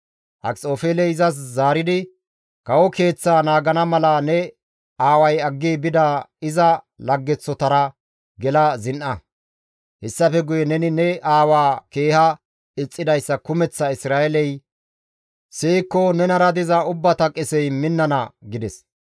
Akxofeeley izas zaaridi, «Kawo keeththaa naagana mala ne aaway aggi bida iza laggeththotara gela zin7a; hessafe guye neni ne aawaa keeha ixxidayssa kumeththa Isra7eeley siyikko nenara diza ubbata qesey minnana» gides.